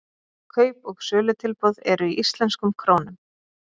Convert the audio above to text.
Kaup- og sölutilboð eru í íslenskum krónum.